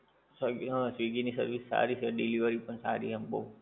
હા, સ્વીગી ની સર્વિસ સારી છે, ડિલિવરી પણ સારી આમ બઉ.